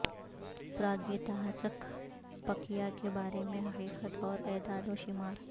پراگیتہاسک پکیہ کے بارے میں حقیقت اور اعداد و شمار